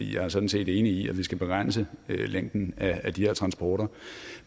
jeg er sådan set enig i at vi skal begrænse længden af de her transporter